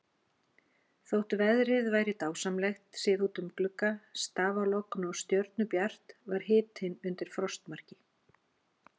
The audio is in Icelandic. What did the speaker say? Þótt veðrið væri dásamlegt, séð út um glugga, stafalogn og stjörnubjart, var hitinn undir frostmarki.